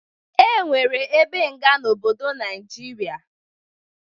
E nwere ebe nga n'obodo Naijiria